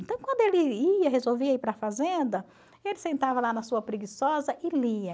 Então, quando ele ia, resolvia ir para a fazenda, ele sentava lá na sua preguiçosa e lia.